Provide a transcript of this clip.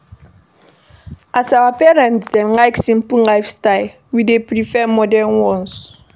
As our parents dem like simple lifestyle, we dey prefer modern ones.